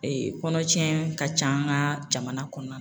Ee kɔnɔtiɲɛ ka ca an ka jamana kɔnɔna na.